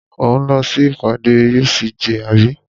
Ò ń lọ sí ìpàdé UCJ àbí?